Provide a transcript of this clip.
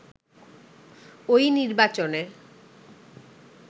ওই নির্বাচনে